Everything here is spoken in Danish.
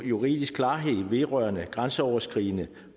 juridisk klarhed vedrørende grænseoverskridende